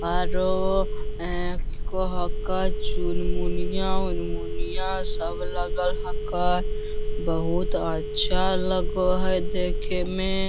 आरो ए कह कई चुनमुनिया-उनमुनिया सब लगल हकै बहुत अच्छा लग हई देखे में।